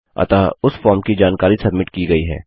अतः उस फॉर्म की जानकारी सब्मिट की गई है